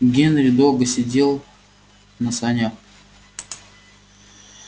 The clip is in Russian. генри долго сидел на санях